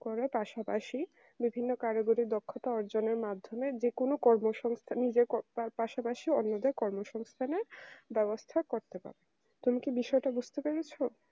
করে পাশাপাশি বিভিন্ন কারিগরি দক্ষতা অর্জনের মাধ্যমে যে কোন কর্মসংস্থান যে কর তার পাশাপাশি অন্যদের কর্মসংস্থানের ব্যবস্থা করতে পারে তুমি কি বিষয়টা বুঝতে পেরেছ